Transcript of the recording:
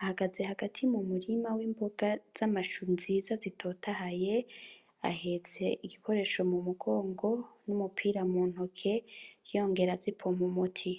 ahagaze hagati mumurima w'imboga z'amashu nziza zitotahaye ahetse igikoresho mu mugongo numupira muntoke yongera azipompa umuti